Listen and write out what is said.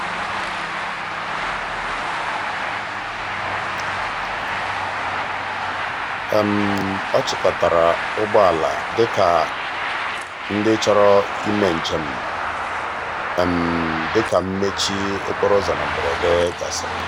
ọ chịkọtara ụgbọala maka ndị chọrọ ụgbọ njem dị ka njem dị ka mmechi okporoụzọ na mberede gasịrị.